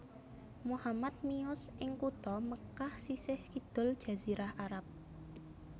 Muhammad miyos ing kutha Mekkah sisih kidul Jazirah Arab